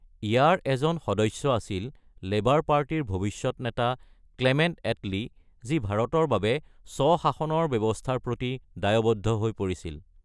ইয়াৰ এজন সদস্য আছিল লেবাৰ পাৰ্টিৰ ভৱিষ্যৎ নেতা ক্লেমেন্ট এটলি, যি ভাৰতৰ বাবে স্ব-শাসনৰ ব্যৱস্থাৰ প্ৰতি দায়বদ্ধ হৈ পৰিছিল।